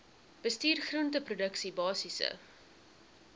bestuur groenteproduksie basiese